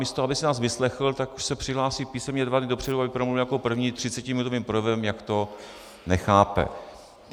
Místo aby si nás vyslechl, tak už se přihlásí písemně dva dny dopředu, aby promluvil jako první třicetiminutovým projevem, jak to nechápe.